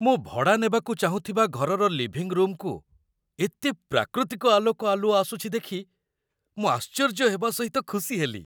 ମୁଁ ଭଡ଼ା ନେବାକୁ ଚାହୁଁଥିବା ଘରର ଲିଭିଂ ରୁମକୁ ଏତେ ପ୍ରାକୃତିକ ଆଲୋକ ଆଲୁଅ ଆସୁଛି ଦେଖି ମୁଁ ଆଶ୍ଚର୍ଯ୍ୟହେବା ସହିତ ଖୁସି ହେଲି।